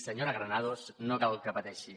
senyora granados no cal que hi pateixi